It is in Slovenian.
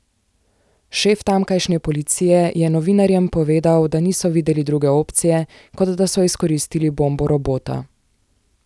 Šef tamkajšnje policije je novinarjem povedal, da niso videli druge opcije, kot da so izkoristili bombo robota.